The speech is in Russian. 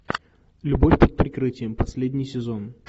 любовь под прикрытием последний сезон